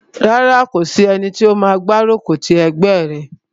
Rárá, kò sí ẹni tó máa gbárùkù ti ẹgbẹ́ rẹ̀